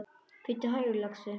Bíddu hægur, lagsi.